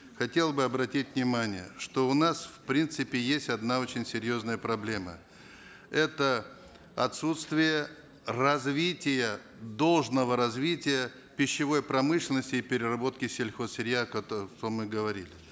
хотел бы обратить внимание что у нас в принципе есть одна очень серьезная проблема это отсутствие развития должного развития пищевой промышленности и переработки сельхозсырья о котором мы говорили